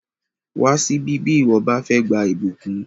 Wá síbí bí ìwọ bá fẹ́ gba ìbùkún!